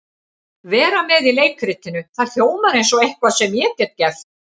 Vera með í leikritinu, það hljómar eins og eitthvað sem ég get gert.